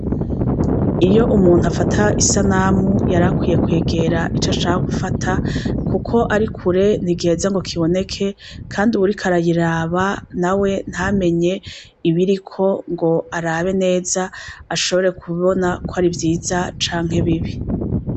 Iyo umuntu afata isanamu yarakwiye kwegera icashaka gufata kuko arikure ntigiheza ngo kiboneke kandi uwuriko arayiraba nawe ntamenye ibiriko ngo arabe neza ashobore kubona kwari vyiza canke bibi